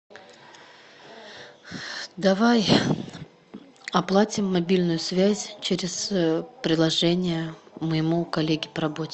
давай оплатим мобильную связь через приложение моему коллеге по работе